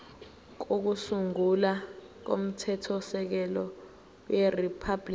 kokusungula komthethosisekelo weriphabhuliki